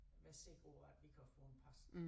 Være sikker på at vi kan få en pas